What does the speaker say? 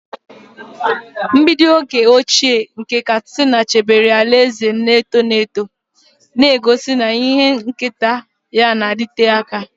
Mgbidi oge ochie nke Katsina chebere alaeze na-eto eto, na-egosi na ihe nketa ya na-adịte aka.